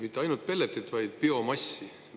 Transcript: Mitte ainult pelleti, vaid ka biomassi.